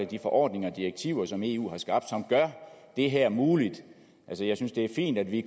de forordninger og direktiver som eu har skabt som gør det her muligt altså jeg synes det er fint at vi